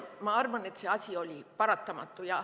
Ma arvan, et kevadel see oli paratamatu.